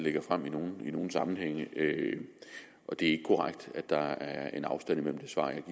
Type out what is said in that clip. lægger frem i nogle nogle sammenhænge og det er ikke korrekt at der er en afstand mellem det svar jeg